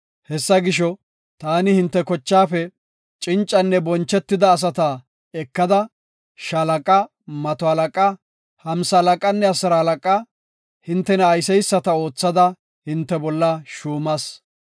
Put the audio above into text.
Hessa gisho, taani hinte kochaafe cincanne bonchetida asata ekada, shaalaqa, mato halaqa, hamsalaqanne asiralaqa, hintena ayseysata oothada hinte bolla shuumas.